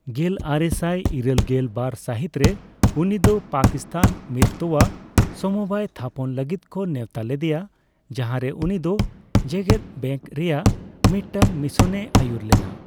ᱜᱮᱞᱟᱨᱮᱥᱟᱭ ᱤᱨᱟᱹᱞᱜᱮᱞ ᱵᱟᱨ ᱥᱟᱹᱦᱤᱛ ᱨᱮ, ᱩᱱᱤ ᱫᱚ ᱯᱟᱠᱤᱥᱛᱟᱱ ᱢᱤᱫ ᱛᱚᱣᱟ ᱥᱚᱢᱚᱵᱟᱭ ᱛᱷᱟᱯᱚᱱ ᱞᱟᱹᱜᱤᱫ ᱠᱚ ᱱᱮᱣᱛᱟ ᱞᱮᱫᱮᱭᱟ, ᱡᱟᱸᱦᱟᱨᱮ ᱩᱱᱤ ᱫᱚ ᱡᱮᱜᱮᱫ ᱵᱮᱝᱠ ᱨᱮᱭᱟᱜ ᱢᱤᱫᱴᱟᱝ ᱢᱤᱥᱚᱱᱮᱭ ᱟᱹᱭᱩᱨ ᱞᱮᱱᱟ ᱾